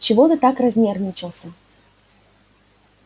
чего ты так разнервничался